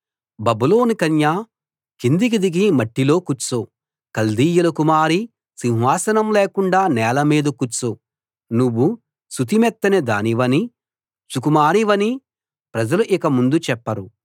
బబులోను కన్యా కిందికి దిగి మట్టిలో కూర్చో కల్దీయుల కుమారీ సింహాసనం లేకుండా నేల మీద కూర్చో నువ్వు సుతిమెత్తని దానివనీ సుకుమారివనీ ప్రజలు ఇక ముందు చెప్పరు